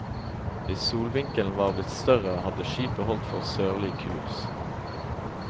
Hvis solvinkelen var blitt større, hadde skipet holdt for sørlig kurs.